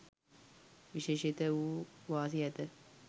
විශේෂිත වූ වාසි ඇත.